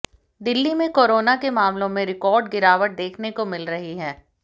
दिल्ली में कोरोना के मामलों में रिकॉर्ड गिरावट देखने को मिल रही है